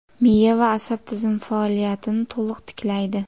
Miya va asab tizimi faoliyatini to‘ liq tiklaydi.